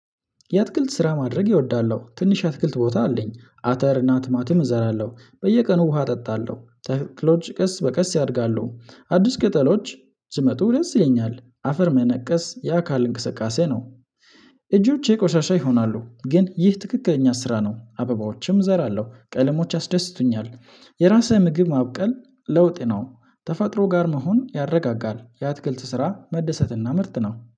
የአትክልት ስራ ማድረግ እወዳለሁ ትንሽ አትክልት ቦታ አለኝ አተር እና ቲማቲም እዘራለሁ በየቀኑ ውሃ እጠጣለሁ ተክሎች ቀስ በቀስ ያድጋሉ አዲስ ቅጠሎች ሲመጡ ደስ ይለኛል አፈር መነቀስ ያ ካል እንቅስቃሴ ነው። እጆቼ ቆሻሻ ይሆናሉ ግን ይህ ትክክለኛ ስራ ነው። አበባዎችም እዘራለሁ ቀለሞች አስደስቱኛል። የራስህ ምግብ ማብቀል ለውጥ ነው። ተፈጥሮ ጋር መሆን ያረጋጋል። የአትግልት ስራ መደሰትና ምርት ነው